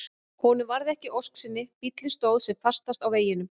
Honum varð ekki að ósk sinni, bíllinn stóð sem fastast á veginum.